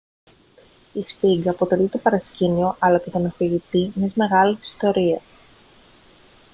η σφίγγα αποτελεί το παρασκήνιο αλλά και τον αφηγητή μιας μεγάλης ιστορίας